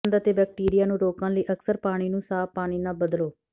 ਗੰਧ ਅਤੇ ਬੈਕਟੀਰੀਆ ਨੂੰ ਰੋਕਣ ਲਈ ਅਕਸਰ ਪਾਣੀ ਨੂੰ ਸਾਫ਼ ਪਾਣੀ ਨਾਲ ਬਦਲੋ